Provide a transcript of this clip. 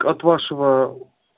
от вашего